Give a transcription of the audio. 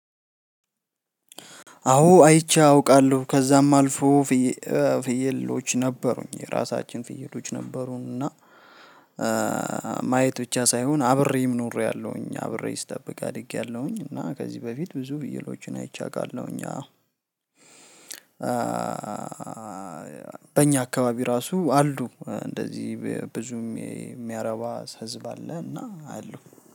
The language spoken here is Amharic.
አዎ አይቼ አውቃለሁ ከዛም አልፎ ፍየሎች ነበሩኝ የራሳችን ፍየሎች ነበሩንና። ማየት ብቻ ሳይሆን አብሬም ኖሬያለሁኝ አብሬ ስጠብቅ አድጌያለሁኝ። እና ከዚህ በፊት ብዙ ፍየሎችን አይቼ አውቃለሁኝና። በእኛ አካባቢ ራሱ አሉ እንደዚህ ብዙም የሚያረባ ህዝብ አለና አሉ